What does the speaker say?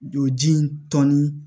Jɔ ji in tɔni